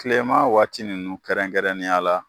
Kilema waati nunnu kɛrɛnkɛrɛnnenya la.